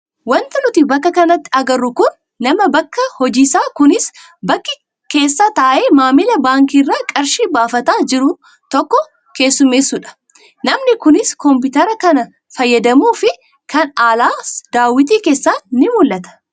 Wanti nuti bakka kanatti agarru kun nama bakka hojiisaa kunis baankii keessa taa'ee maamila baankii irraa qarshii baafataa jiru tokko keessummeessudha. Namni kunis kompiitara kan fayyadamuu fi kan alaas daawwitii keessaan ni mul'ata.